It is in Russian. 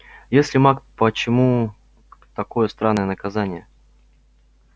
если маг почему такое странное наказание